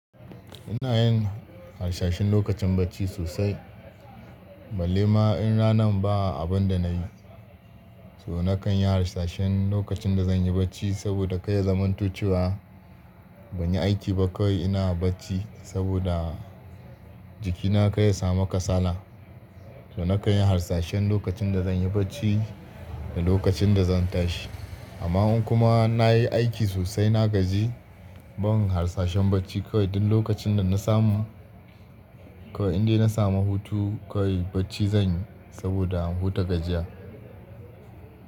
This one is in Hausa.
Ina yin harsashin lokacin bacci sosai. Balle ma in ranan ba abunda nayi, so nakan yi hasashin lokacin da zanyi bacci saboda kar ya zamanto cewa banyi aiki ba kawai ina bacci saboda jikina kar ya samu kasala. To nakan yi hasashin lokacin da zanyi bacci da lokacin da zan tashi. Amma in kuma nayi aiki sosai na gaji, ban hasashen bacci kawai duk lokacin da nasamu, kawai indai nasamu hutu kawai bacci zanyi saboda huta gajiya.